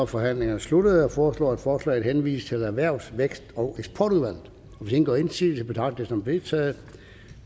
forhandlingerne sluttet jeg foreslår at forslaget henvises til erhvervs vækst og eksportudvalget hvis ingen gør indsigelse betragter som vedtaget